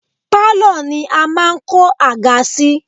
Pálọ̀ ni a máa ń kó àga sí